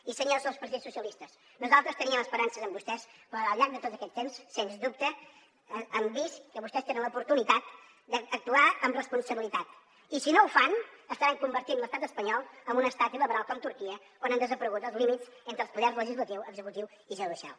i senyors del partit socialistes nosaltres teníem esperances en vostès però al llarg de tot aquest temps sens dubte han vist que vostès tenen l’oportunitat d’actuar amb responsabilitat i si no ho fan estaran convertint l’estat espanyol en un estat il·liberal com turquia on han desaparegut els límits entre els poders legislatiu executiu i judicial